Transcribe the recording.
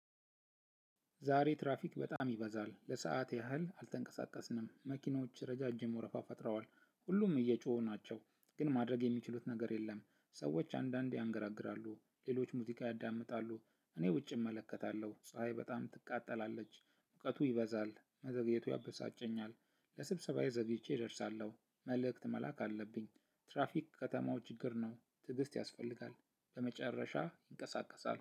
ዛሬ ትራፊክ በጣም ይበዛል ለሰአት ያህል አልተንቀሳቀስንም መኪኖች ረዣዥም ወረፋ ፈጥረዋል ሁሉም እየጮሁ ናቸው ግን ማድረግ የሚችሉት ነገር የለም። ሰዎች አንዳንዴ ያንገራግራሉ ሌሎች ሙዚቃ ያዳምጣሉ እኔ ውጭ እመለከታለሁ ፀሀይ በጣም ትቃጠላለች። እውቀቱ ይበዛል መዘግየቱ ያበሳጨኛል። ለስብሰባዬ ዘግይቼ እደርሳለሁ መልእክት መላክ አለብኝ። ትራፊክ ከተማው ችግር ነው ትዕግስት ያስፈልጋል። በመጨረሻ ይንቀሳቀሳል